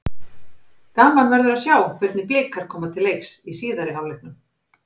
Gaman verður að sjá hvernig Blikar koma til leiks í síðari hálfleiknum.